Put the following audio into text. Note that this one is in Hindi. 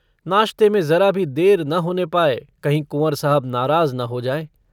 नाश्ते में जरा भी देर न होने पाए, कहीं कुँवर साहब नाराज़ न हो जाएँ।